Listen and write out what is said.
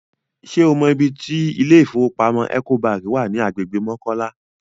Ṣé o mọ ibi tí ilé ìfowópamọ́ Ecobank wà ní agbègbè Mọ́kọ́lá?